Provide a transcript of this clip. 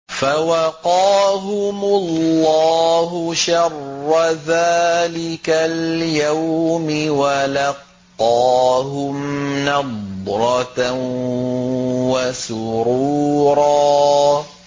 فَوَقَاهُمُ اللَّهُ شَرَّ ذَٰلِكَ الْيَوْمِ وَلَقَّاهُمْ نَضْرَةً وَسُرُورًا